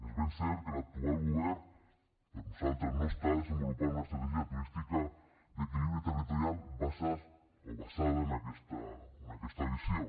és ben cert que l’actual govern per nosaltres no està desenvolupant una estratègia turística d’equilibri territorial basada en aquesta visió